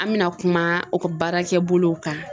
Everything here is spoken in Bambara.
An bɛna kuma baarakɛ bolow kan.